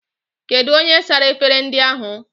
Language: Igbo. Kedụ onye sara efere ndị ahụ?